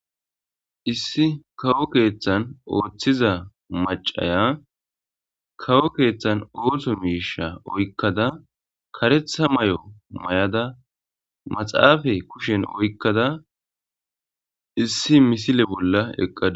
issi kawo keeththan ooththiza macaya kawo keeththan oohtho miisha oykkada karetha may7o may7ada maxaafa kushen oykkada issi misile bolla eqqada